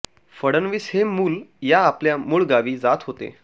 फडणवीस हे मूल या आपल्या मूळ गावी जात होते